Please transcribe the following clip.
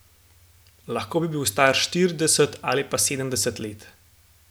Lahko bi bil star štirideset ali pa sedemdeset let.